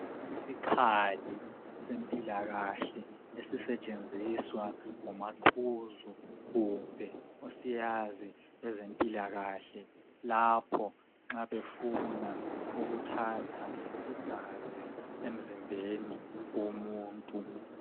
Isikhali sempilakahle esisetshenziswa ngomaqhuzu kumbe osiyazi kwezempilakahle lapho nxa befuna ukuthatha igazi emzimbeni womuntu